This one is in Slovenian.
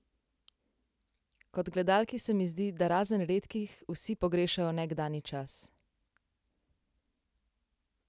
Kot gledalki se mi zdi, da razen redkih vsi pogrešajo nekdanji čas?